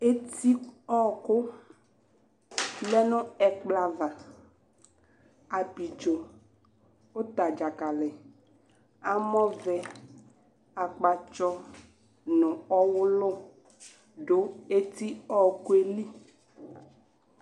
Eti ɔwɔku lɛ nu ɛkplɔ ava Ablidzo uta dzali amɔ akpatsɔ nu ɔwulu du etiwɔku rli ,,,,,